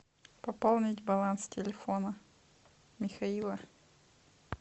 пополнить баланс телефона михаила